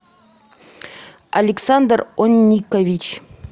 александр онникович